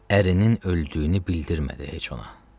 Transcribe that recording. ərinin öldüyünü bildirmədi heç ona.